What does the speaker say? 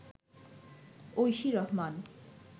Oishi Rahman